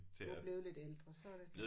Du er blevet lidt ældre så er det